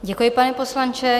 Děkuji, pane poslanče.